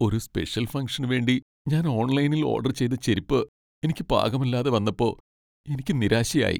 ഒരു സ്പെഷ്യൽ ഫംങ്ഷന് വേണ്ടി ഞാൻ ഓൺലൈനിൽ ഓഡർ ചെയ്ത ചെരിപ്പ് എനിക്ക് പാകമല്ലാതെ വന്നപ്പോ എനിക്ക് നിരാശയായി .